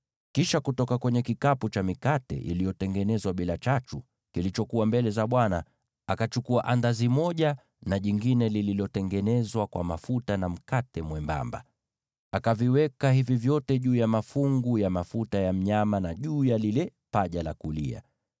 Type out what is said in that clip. Kisha kutoka kwenye kikapu cha mikate iliyotengenezwa bila chachu, kilichokuwa mbele za Bwana , akachukua andazi moja, na jingine lililotengenezwa kwa mafuta, na mkate mwembamba; akaviweka hivi vyote juu ya mafungu ya mafuta ya mnyama, na juu ya lile paja la kulia.